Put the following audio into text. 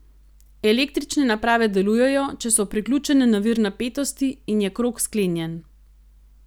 Električne naprave delujejo, če so priključene na vir napetosti in je krog sklenjen.